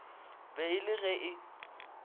be e le ge e